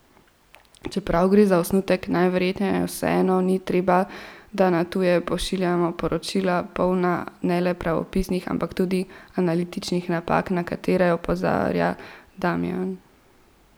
Čeprav gre za osnutek, najverjetneje vseeno ni treba, da na tuje pošiljamo poročila, polna ne le pravopisnih, ampak tudi analitičnih napak, na katere opozarja Damijan.